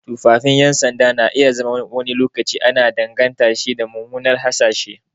Tufafin 'yan sanda na iya zama wani lokaci ana danganta shi da mummuna hasashe.